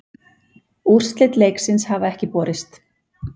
Úrslit leiksins hafa ekki borist